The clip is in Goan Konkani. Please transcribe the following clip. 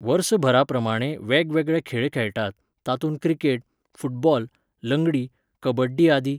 वर्सभराप्रमाणें वेगवेगळे खेळ खेळटात, तातूंत क्रिकेट, फुटबाॅल, लंगडी, कबड्डी आदी.